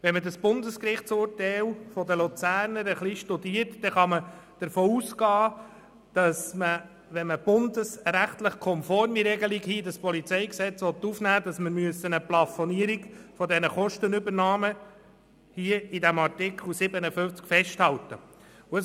Wenn man das Bundesgerichtsurteil betreffend den Kanton Luzern genau anschaut, kann man davon ausgehen, dass man eine Plafonierung der Kostenübernahmen in Artikel 57 festhalten muss, wenn man eine bundesrechtskonforme Regelung in das PolG aufnehmen will.